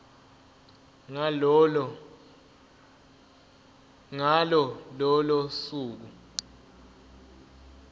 ngalo lolo suku